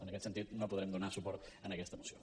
en aquest sentit no podrem donar suport a aquesta moció